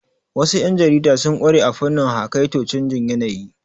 Wasu yan jarida sun ƙware a fannin haƙaito canjin yanayi.